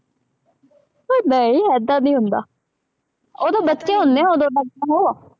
ਪਰ ਨਹੀਂ ਏਦਾਂ ਨਹੀਂ ਹੁੰਦਾ, ਉਦੋਂ ਬੱਚੇ ਹੁੰਦੇ ਹੈ, ਉਦੋਂ ਤਾਂ ਉਹ